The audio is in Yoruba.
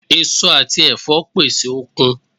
Èso àti ẹ̀fọ́ pèsè okun